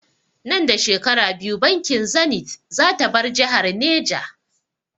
Nan da shekaru biyu bankin zanith zata bar jihar Neja